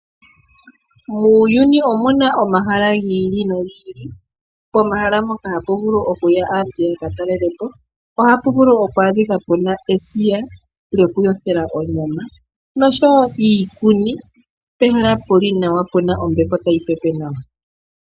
Muuyuni omuna omahala gi ili nogi ili pomahala mpoka hapu vulu okuya aantu yakatalelepo. Ohapu vulu oku adhika pena esiga lyoku yothela onyama noshowo iikuni pehala puli nawa pena ombepo tayi pepe nawa.